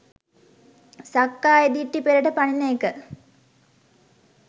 සක්කාය දිට්ඨිය පෙරට පනින එක